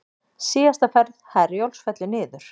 Síðasta ferð Herjólfs fellur niður